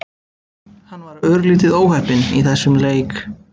Hann var örlítið óheppinn í þessum leik.